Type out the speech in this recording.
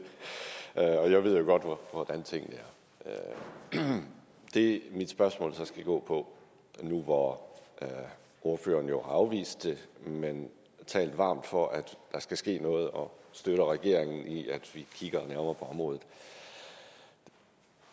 og jeg ved jo godt hvordan tingene er det mit spørgsmål så skal gå på nu hvor ordføreren jo har afvist det men talt varmt for at der skal ske noget og støtter regeringen i at vi kigger nærmere på området